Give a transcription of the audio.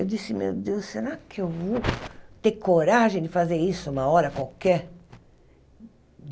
Eu disse, meu Deus, será que eu vou ter coragem de fazer isso uma hora qualquer?